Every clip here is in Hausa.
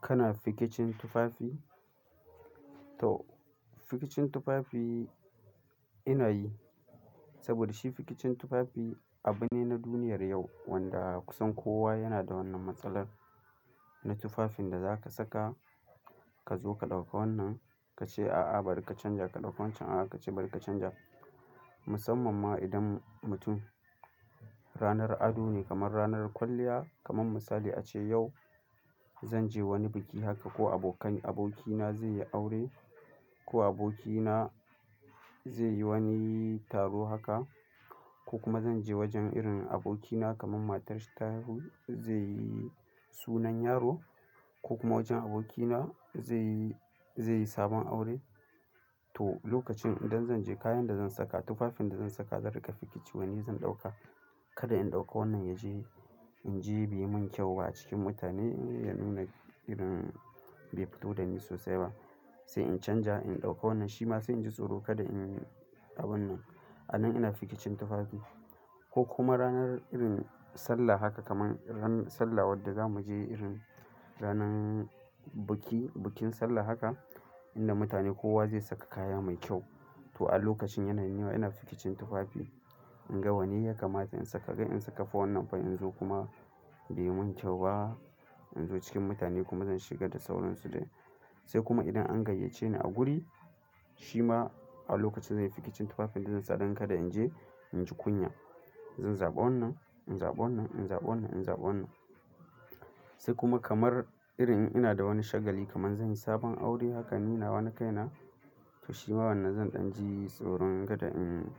Kana fikicin tufafi? To fikicin tufafi ina yi. Saboda shi fikicin tufafi abu ne na duniyar yau wanda kusan kowa yana da wannan matsalar. Na tufafin da za ka saka ka zo ka ɗauka wannan ka ce, "A'a bari ka canja." Ka ɗauko wancan ka ce, "A'a bari ka canja." Musamman ma idan mutum ranar ado ne kamar ranar kwalliya kamar misali ace yau zan je wani biki haka ko abokan abokina zai yi aure ko abokina zai yi wani taro haka ko kuma zan je wajen irin abokina kamar matarshi ta haihu zai yi sunan yaro ko kuma wajen abokina zai yi, zai yi sabon aure. To lokacin idan zan je kayan da zan saka, tufafin da zan saka zan riƙa fikici wanne zan ɗauka. Kada in ɗauka wannan ya je in je bai mun kyau ba a cikin mutane ya nuna irin bai fito da ni sosai ba. Sai in canja in ɗauka wannan shi ma sai in ji tsoro kada in yi abun nan. A nan ina fikicin tufafi ko kuma ranar irin sallah haka kamar ran sallah wadda za mu je irin ranan biki, bikin sallah haka inda mutane kowa zai saka kaya mai kyau. To a lokacin yana ni ma ina fikicin tufafi. In ga wanne ya kamata in saka, kai in saka wannan fa in zo kuma bai mun kyau ba. In zo cikin mutane kuma zan shiga da sauransu dai. Sai kuma idan an gayyace ni a guri, shi ma a lokacin zan yi fikicin tufafin da zan sa don kada in je in ji kunya. Zan zaɓa wannan, in zaɓa wannan, in zaɓa wannan, in zaɓa wannan. Sai kuma kamar irin ina da wani shagali kamar zan yi sabon aure haka ni da wani kaina to shi ma wannan zan ɗan ji tsoron kada in yi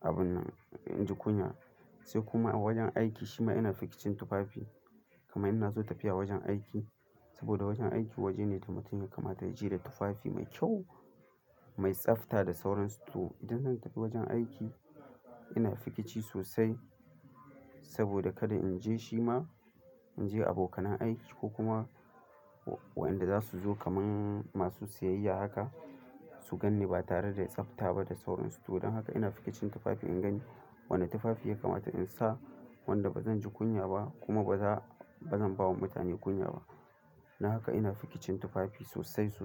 abun nan, in ji kunya. Sai kuma a wajen aiki shi ma ina fikicin tufafi. Kamar ina zo tafiya wajen aiki saboda wajen aiki waje ne da mutum ya kamata ya je da tufafi mai kyau, mai tsafta da sauransu. To idan zan tafi wajen aiki ina fikici sosai saboda kada in je shi ma in je abokan aiki ko kuma waɗanda za su zo kamar masu siyayya haka su gan ni ba tare da tsafta ba da sauransu. Don haka ina fikicin tufafi in gani wane tufafi ya kamata in sa wanda ba zan ji kunya ba kuma ba za, ba zan ba wa mutane kunya ba. Na haka ina fikicin tufafi sosai sosai.